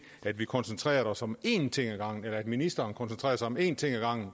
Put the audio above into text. at vi koncentrerede os om én ting ad gangen eller rettere at ministeren koncentrerede sig om én ting ad gangen